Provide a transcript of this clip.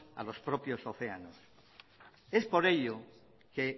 a los propios océanos es por ello que